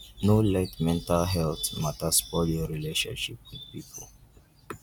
no let mental healt mata spoil your relationship with pipo.